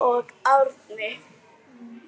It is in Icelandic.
Sjöfn og Árni.